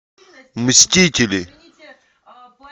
мстители